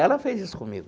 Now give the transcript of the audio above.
Ela fez isso comigo.